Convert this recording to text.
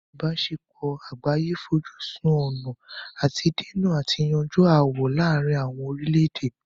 ìbáṣepọ̀ àgbáyé fojú sun ọ̀nà àti dènà àti yanjú ááwọ̀ láàrin àwọn orílẹ̀-èdè.